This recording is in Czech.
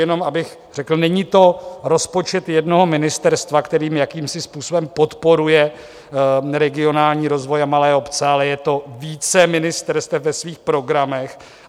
Jenom bych řekl, není to rozpočet jednoho ministerstva, kterým jakýmsi způsobem podporuje regionální rozvoj a malé obce, ale je to více ministerstev ve svých programech.